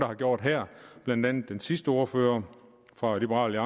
har gjort her blandt andet den sidste ordfører fra liberal